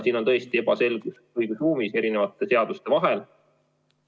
Siin on tõesti õigusruumis erinevate seaduste vahel ebaselgus.